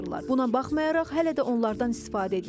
Buna baxmayaraq hələ də onlardan istifadə edilir.